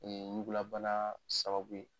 Ɲugulabana sababu ye